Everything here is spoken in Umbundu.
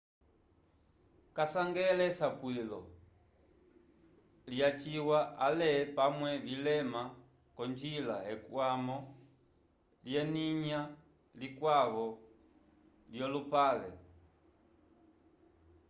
kavasangele esapwilo lyacilwa ale pamwe vilema k'onjila ekwamo lyelinya likwavo lyolupale